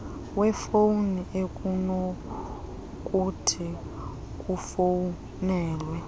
yefowuni ekunokuthi kufowunelwe